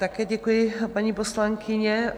Také děkuji, paní poslankyně.